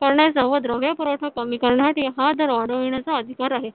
करण्याचा व द्रव्य पुरवठा कमी करण्याचा हा दर वाढविण्याचा अधिकार आहे.